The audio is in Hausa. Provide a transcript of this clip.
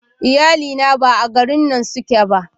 Iyalina ba a garin nan suke ba.